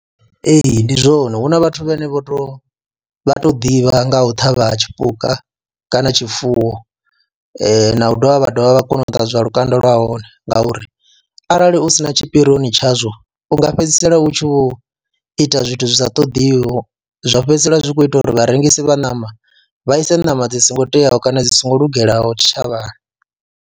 Ee, ndi zwone hu na vhathu vhane vho tou vha tou ḓivha nga u ṱhavha ha tshipuka kana tshifuwo na u dovha vha dovha vha kone u ṱanzwa lukanda lwa hone ngauri arali u u si na tshipirioni tshazwo u nga fhedzisela u tshi vho ita zwithu zwi sa ṱoḓiho, zwa fhedzisela zwi khou ita uri vharengisi vha ṋama vha ise ṋama dzi songo teaho kana dzi songo lungelaho tshitshavhani.